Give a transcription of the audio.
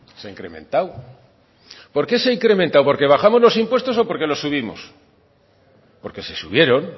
se ha incrementado por qué se ha incrementado porque bajamos los impuestos o porque los subimos porque se subieron